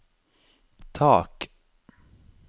tak